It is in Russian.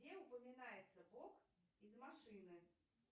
где упоминается бог из машины